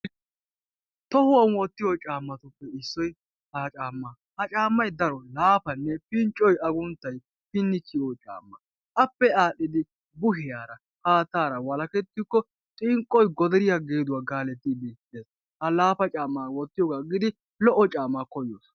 Tohuwan wotiyo caamatuppe issoy ha caamaa. ha caamay pinccoy agunttay pini kiyiyo caama. appe aadhidi haattaara walakketikko xinqqoy godariya gididi, worees. ha laafa caammaa wotiyogaa agidi paya caamaa wotitte.